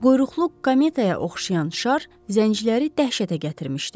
Quyruqlu kometa-ya oxşayan şar zəncirləri dəhşətə gətirmişdi.